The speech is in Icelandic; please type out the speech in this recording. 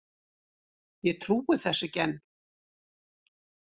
Ég trúi þessu ekki enn.